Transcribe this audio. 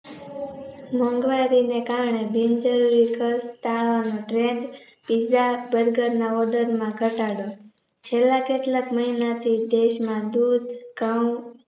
મોંઘવારીને કારણે બિન જરૂરી ખર્ચ ટાળવાનો piza Burger ના order માં ધટાડો છે લા કેટલાક મહિનાથી દેશમાં દૂધ ધઉં